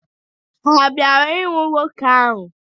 Ha bịara ịhụ nwoke ahụ.